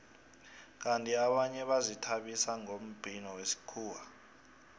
kandi abanye bazithabisa ngombhino wesikhuwa